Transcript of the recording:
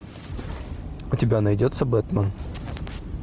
у тебя найдется бэтмен